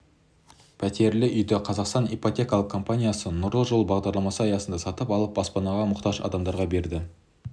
пәтерлі үйді қазақстан ипотекалық компаниясы нұрлы жол бағдарламасы аясында сатып алып баспанаға мұқтаж адамдарға берді